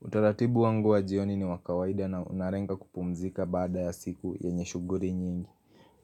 Utaratibu wangu wa jioni ni wa kawaida na unarenga kupumzika baada ya siku yenye shughuli nyingi.